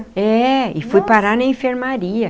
É, e fui parar na enfermaria.